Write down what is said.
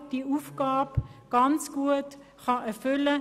Genau dieser kann diese Aufgabe sehr gut erfüllen.